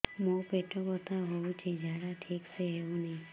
ମୋ ପେଟ ବଥା ହୋଉଛି ଝାଡା ଠିକ ସେ ହେଉନି